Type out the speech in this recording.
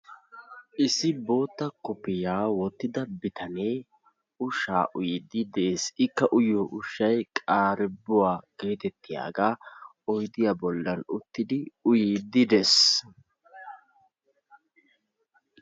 Issi bootta kofiyaa woottida bitanee ushsaa uyiidi de'ees. Ikka uyiyoo ushshay qarebbuwaa getettiyaagaa oydiyaa bollaan uttidi uyiidi dees.